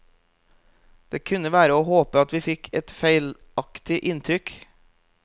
Det kunne være å håpe at vi fikk et feilaktig inntrykk.